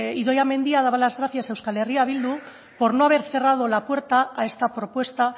idoia mendia daba las gracias a eh bildu por no haber cerrado la puerta a esta propuesta